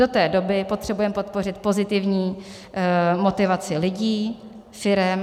Do té doby potřebujeme podpořit pozitivní motivaci lidí, firem.